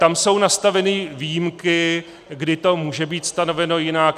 Tam jsou nastaveny výjimky, kdy to může být stanoveno jinak.